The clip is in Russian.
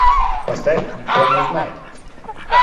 поставь никто не узнает